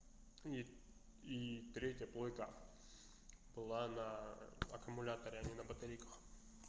и и третья плойка была на аккумуляторе а не батарейках